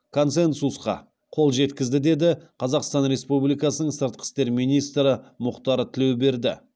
консенсусқа қол жеткізді деді қазақстан республикасының сыртқы істер министрі мұхтар тілеуберді